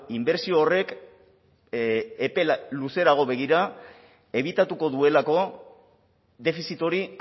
inbertsio horrek epe luzerago begira ebitatuko duelako defizit hori